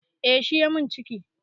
Eh shi ya min ciki